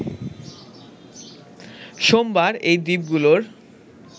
সোমবার এই দ্বীপগুলোর